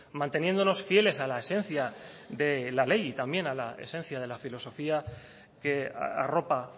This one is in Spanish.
manteniéndonos fieles a la esencia de la ley y también a la esencia de la filosofía que arropa